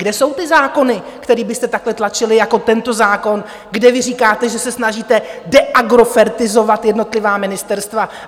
Kde jsou ty zákony, které byste takhle tlačili jako tento zákon, kde vy říkáte, že se snažíte deagrofertizovat jednotlivá ministerstva?